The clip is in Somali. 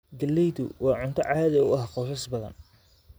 Galleydu waa cunto caadi ah qoysas badan.